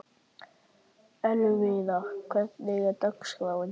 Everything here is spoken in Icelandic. Elvira, hvernig er dagskráin?